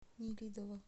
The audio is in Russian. нелидово